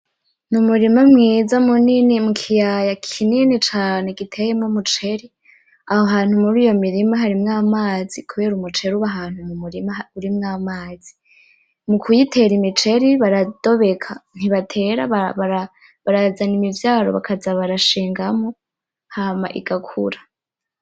N'umurima mwiza munini, mukiyaya kinini cane giteyemwo umuceri. Aho hantu muriyo mirima harimwo amazi, kubera umuceri uri ahantu mumurima urimwo amazi. Mukuyitera miceri baradobeka ntibatera, barazana imivyaro bakaza barashingamwo, hama igakura.